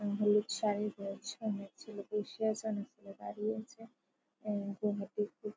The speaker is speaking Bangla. অ্যা হলুদ শাড়ি পরেছে। অনেক ছেলে বসে আছে। অনেক ছেলে দাঁড়িয়ে আছে এ --